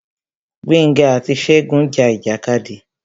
Gbénga àti Ṣegún ja ìjàkadì.